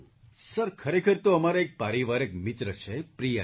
sir ખરેખર તો અમારા એક પારિવારિક મિત્ર છે પ્રિયાજી